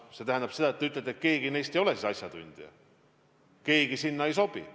See tähendab seda, et te nagu ütlete, keegi neist ei ole asjatundja, keegi neist sinna ei sobi.